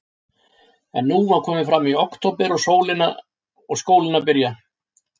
En nú var komið fram í október og skólinn að byrja.